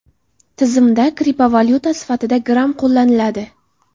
Tizimda kriptovalyuta sifatida Gram qo‘llaniladi.